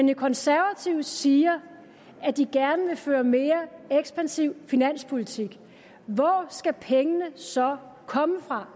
de konservative siger at de gerne vil føre en mere ekspansiv finanspolitik hvor skal pengene så komme fra